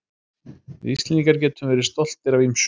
Við Íslendingar getum verið stoltir af ýmsu.